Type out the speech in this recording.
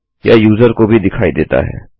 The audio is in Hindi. यह यूजर को भी दिखाई देता है